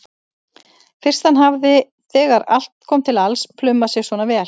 Fyrst hann hafði þegar allt kom til alls plumað sig svona vel.